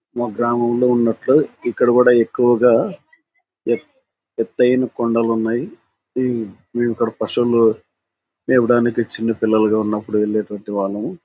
మా గ్రామంలో ఉన్నట్లు ఇక్కడా కూడా ఎక్కువగా ఎత్ ఎతైన కొండలున్నాయి. ఈ మేము ఇక్కడ పశువులు చెప్పడానికి చిన్న పిల్లగా ఉండేటప్పుడు వెళ్లేటటువంటి వాళ్లము.